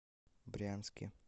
брянске